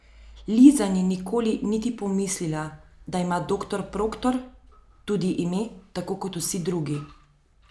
Liza ni nikoli niti pomislila, da ima doktor Proktor tudi ime, tako kot vsi drugi.